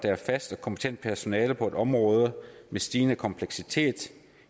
er et fast og kompetent personale på et område med stigende kompleksitet